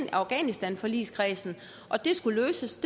i afghanistanforligskredsen det skulle løses